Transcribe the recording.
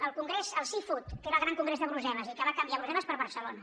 el congrés seafood que era el gran congrés de brussel·les i que va canviar brussel·les per barcelo na